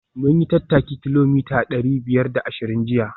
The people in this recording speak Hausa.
Mun yi tattaki kilomita dari biyar da ashirin jiya